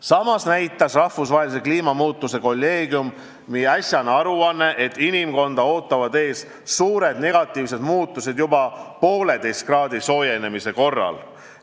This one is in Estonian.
Samas näitas rahvusvahelise kliimamuutuste kolleegiumi äsjane aruanne, et inimkonda ootavad ees suured negatiivsed muutused juba 1,5 kraadi võrra soojenemise korral.